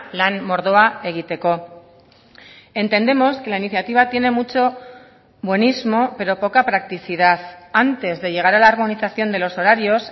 lan mordoa egiteko entendemos que la iniciativa tiene mucho buenismo pero poca practicidad antes de llegar a la armonización de los horarios